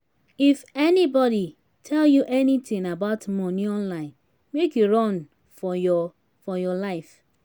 if anybody tell you anything about money online make you run for your for your life